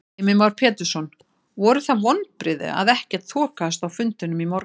Heimir Már Pétursson: Voru það vonbrigði að ekkert þokaðist á fundinum í morgun?